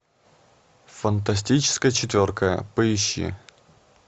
фантастическая четверка поищи